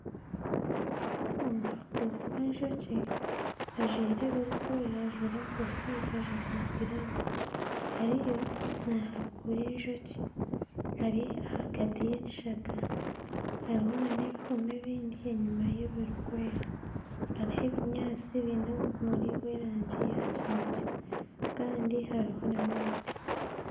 Omuhaakuzi w'obwoki ajwaire ebirikwera, ajwaire enkofiira ajwaire na giravuzi ariyo naahakura obwoki eri ahagati y'ekishaka hariyo n'ebihuuma ebindi enyuma y'ebirikwera hariho obunyaatsi bwine obumuri bw'erangi ya kinekye kandi hariho n'emiti.